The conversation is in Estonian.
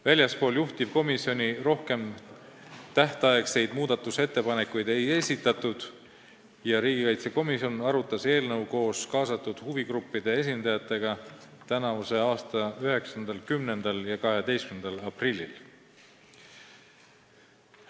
Väljastpoolt juhtivkomisjoni tähtajaks muudatusettepanekuid ei esitatud ja riigikaitsekomisjon arutas eelnõu koos kaasatud huvigruppide esindajatega 9., 10. ja 12. aprillil.